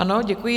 Ano, děkuji.